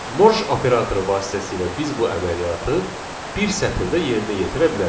Morj operatoru vasitəsilə biz bu əməliyyatı bir sətirdə yerinə yetirə bilərik.